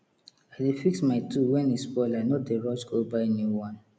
i dey fix my tool when e spoil i no dey rush go buy new one